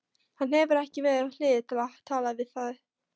Hann hefur engan við hlið sér til að tala við.